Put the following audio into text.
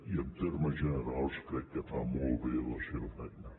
i en termes generals crec que fa molt bé la seva feina